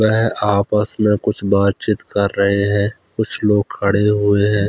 वह आपस में कुछ बात-चीत कर रहे हैं कुछ लोग खड़े हुए हैं।